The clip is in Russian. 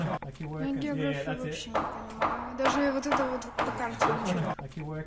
ну географию вообще не понимаю даже вот это вот по карте ничего не